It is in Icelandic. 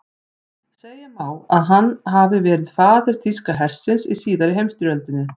Segja má að hann hafi verið faðir þýska hersins í síðari heimsstyrjöldinni.